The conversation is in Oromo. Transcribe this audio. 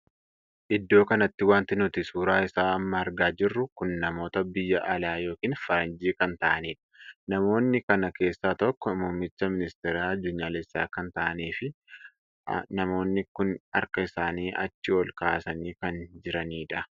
Iddoo kanatti wanti nuti suuraa isaa amma argaa jirru kun namoota biyya alaa ykn faranjii kan taa'aniidha. namoonni kana keessaa tokkoo muummicha ministeeraa addunyalessaa kan taa'aniif ha.namoonni kun harka isaanii achi ol kaasanii kan jiranidha.